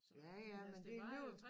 Ja ja men det alligevel